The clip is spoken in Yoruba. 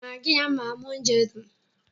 Magí a máa mú oúnjẹ dùn.